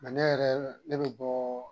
ne yɛrɛ, ne be bɔ